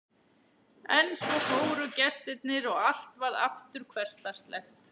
En svo fóru gestirnir og allt varð aftur hversdagslegt.